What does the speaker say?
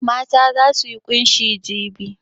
Mata za su yi ƙunshi jibi.